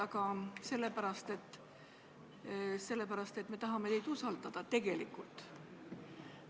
Aga sellepärast, et me tahame teid tegelikult usaldada.